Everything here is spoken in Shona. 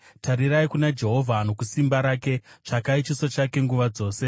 Tarirai kuna Jehovha nokusimba rake; tsvakai chiso chake nguva dzose.